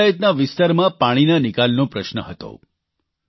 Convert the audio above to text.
આ પંચાયતના વિસ્તારમાં પાણીના નિકાલનો પ્રશ્ન હતો